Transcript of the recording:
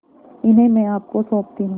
इन्हें मैं आपको सौंपती हूँ